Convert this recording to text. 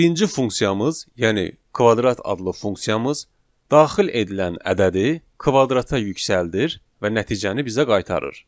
Birinci funksiyamız, yəni kvadrat adlı funksiyamız daxil edilən ədədi kvadrata yüksəldir və nəticəni bizə qaytarır.